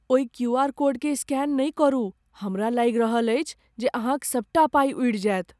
ओहि क्यूआर कोडकेँ स्कैन नहि करू। हमरा लागि रहल अछि जे अहाँक सबटा पाइ उड़ि जायत।